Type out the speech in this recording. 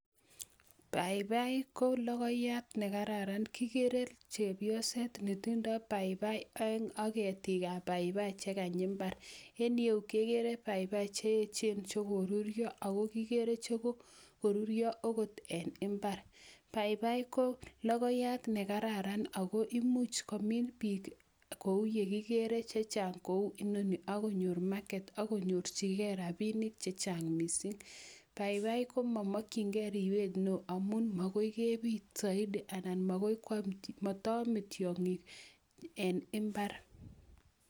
papaik ko lokoyat ne kararan. Kigere chepyoset ne tindoi papipai oeng ak ketik ab paipaik che kany mbar en yeu agere paipai che echen che karurio, aku kigere che kokorurio akot eng mbar. paipai ko lokoyat ne kararan aku imuch komin biik kou yekigere chechang kou inoni aku nyoru market akunyorjigei robinik che chang mising. paipai ko mamakchingei riywet neoo amun makoi kebit zaidi anan makoi kwam, mataame tyong'ik en imbar.